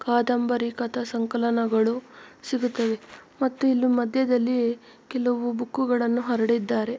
ಕಾದಂಬರಿ ಕಥಾಸಂಕಲನಗಳು ಸಿಗುತ್ತವೆ ಮತ್ತು ಇಲ್ಲಿ ಮದ್ಯದಲ್ಲಿ ಕೆಲವು ಬುಕ್ಕು ಗಳನ್ನು ಹರಡಿದ್ದಾರೆ.